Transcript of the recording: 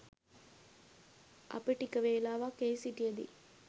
අපි ටික වේලාවක් එහි සිටියදී